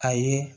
A ye